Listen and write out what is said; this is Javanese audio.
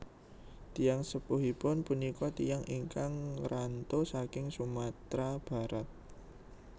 Tiyang sepuhipun punika tiyang ingkang ngranto saking Sumatera Barat